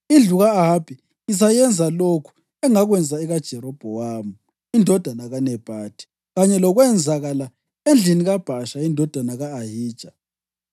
Indlu ka-Ahabi ngizayenza lokhu engakwenza ekaJerobhowamu indodana kaNebhathi kanye lokwenzakala endlini kaBhasha indodana ka-Ahija.